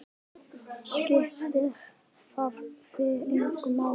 Skiptir það þig engu máli?